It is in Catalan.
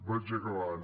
vaig acabant